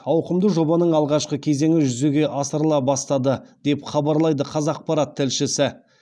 ауқымды жобаның алғашқы кезеңі жүзеге асырыла бастады деп хабарлайды қазақпарат тілшісі